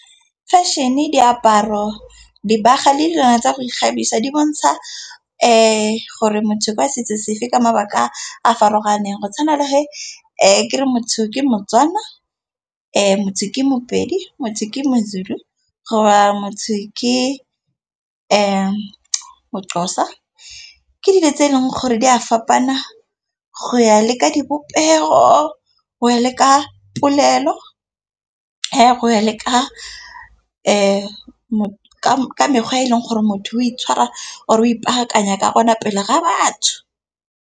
Feshene, diaparo, dibaga le dilwana tsa go ikgabisa di bontsha gore motho kwa setso sefe ka mabaka a a farologaneng. Go tshwana le he kere motho ke motswana, motho ke mopedi, motho ke mozulu goba motho ke moxhosa. Ke dilo tse e leng gore di a fapana go ya leka dipopego, go ya le ka polelo, go ya le ka mekgwa e e leng gore motho o itshwara or-e o ipaakanya ka gona pele ga batho.